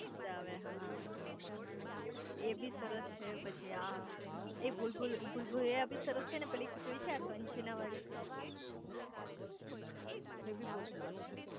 મજા આવે હા એબી સરસ છે પછી આ એક ભુલભુલૈયા બી સરસ છે અને પેલી ખીચડી છે આ કંચના વાળી એ બી બહુ સરસ છે